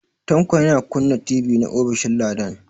Tanko yana kunna TV na ofishin Ladan.